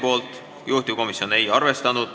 Juhtivkomisjon ei ole seda ettepanekut arvestanud.